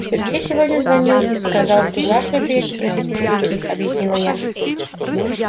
сергей сегодня звонил и сказал что завтра приедет просить моей руки объяснила я